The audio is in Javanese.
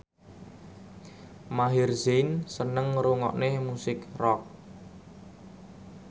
Maher Zein seneng ngrungokne musik rock